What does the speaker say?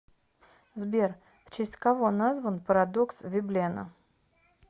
сбер в честь кого назван парадокс веблена